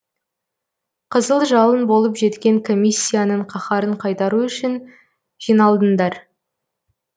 қызыл жалын болып жеткен комиссияның қаһарын қайтару үшін жиналдыңдар